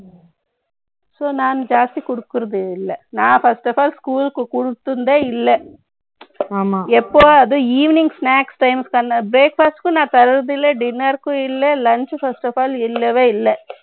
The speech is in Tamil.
ம்ம். So, நான் ஜாஸ்தி கொடுக்கிறது இல்லை. நான் first of all, school க்கு கொடுத்திருந்ததே இல்லை ஆமா. எப்போ அதுவும் evening snacks times க்கான breakfast க்கும் நான் தர்றது இல்லை. Dinner க்கும் இல்லை. Lunch first of all இல்லவே இல்லை